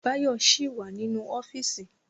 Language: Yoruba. Báyọ̀ ṣì wà nínú ọ́fíìsì